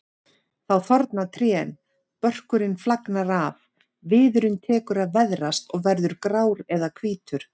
Þá þorna trén, börkurinn flagnar af, viðurinn tekur að veðrast og verður grár eða hvítur.